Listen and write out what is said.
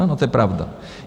Ano, to je pravda.